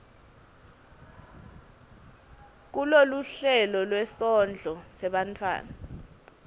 kuloluhlelo lwesondlo sebantfwana